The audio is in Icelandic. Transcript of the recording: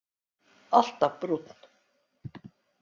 Alltaf brúnn.